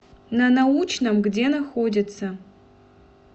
на научном где находится